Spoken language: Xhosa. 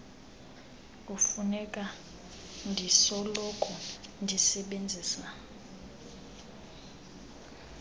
kufuneka ndisoloko ndisebenzisa